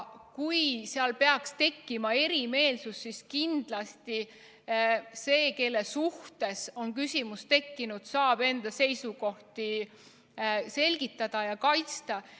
Kui peaks tekkima erimeelsusi, siis kindlasti see, kelle suhtes on küsimus tekkinud, saab enda seisukohti selgitada ja kaitsta.